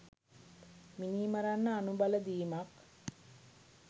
මිනි මරන්න අනුබල දීමක්.